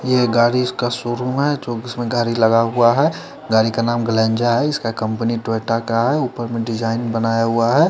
ये गाड़ी इसका शोरूम है जो इसमें गाड़ी लगा हुआ है गाड़ी का नाम ग्लेंजा है इसका कंपनी टोयोटा का है उपर में डिजाईन बनाया हुआ है।